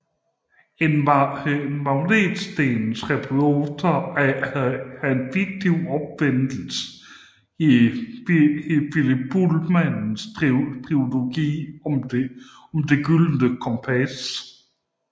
En magnetstensresonator er en fiktiv opfindelse i Philip Pullmans trilogi om Det gyldne kompas